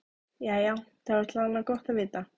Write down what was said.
Jæja, það er þó alla vega gott að vita.